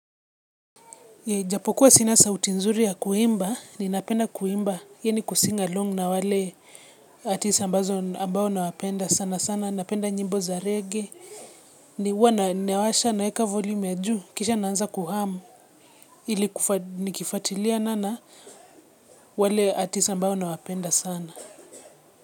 Japo kuwa sina sauti nzuri ya kuimba, ninapenda kuimba, kuimba pamoja na wale wasanii ambao ninawapenda sana sana. Napenda nyimbo za reggae, ninapoziwasha naweka volume ya juu, kisha naanza kuimba, ili kufuatilia na mimi. Wale artists ambao nawapenda sana.